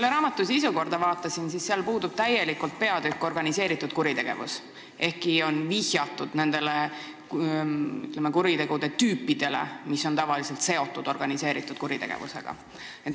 Kui ma raamatu sisukorda vaatasin, siis nägin, et sealt täielikult puudub organiseeritud kuritegevuse peatükk, ehkki on vihjatud nendele kuriteotüüpidele, mis on tavaliselt seotud organiseeritud kuritegevusega.